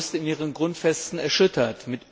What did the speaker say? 8. August in ihren Grundfesten erschüttert.